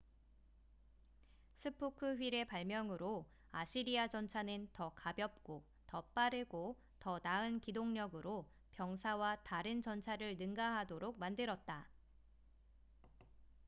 스포크 휠의 발명으로 아시리아 전차는 더 가볍고 더 빠르고 더 나은 기동력으로 병사와 다른 전차를 능가하도록 만들었다